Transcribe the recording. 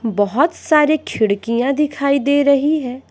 बहुत सारी खिड़कियां दिखाई दे रही हैं।